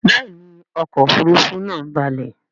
Béèni ọkọ òfurufú naa ń balè.